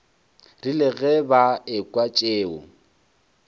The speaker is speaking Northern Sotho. rile ge ba ekwa tšeo